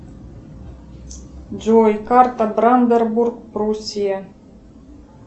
джой карта бранденбург пруссия